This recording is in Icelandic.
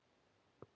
Unnur Pálína.